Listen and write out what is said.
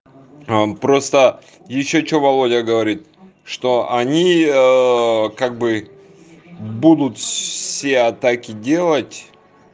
а просто ещё что володя говорит что они как бы будут все атаки делать